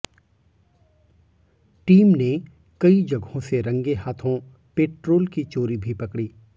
team ने कई जगहों से रंगे हाथों पेट्रोल की चोरी भी पकड़ी